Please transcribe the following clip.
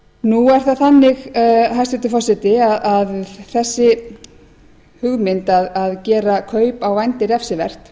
nú er það þannig hæstvirtur forseti að þessi hugmynd að gera kaup á vændi refsivert